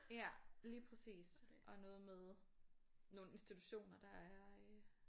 Ja lige præcis og noget med nogle institutioner der er øh